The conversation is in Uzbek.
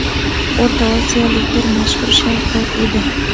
O‘rta Osiyolik bir mashhur shayx bor edi.